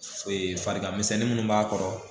farigan misɛnnin munnu b'a kɔrɔ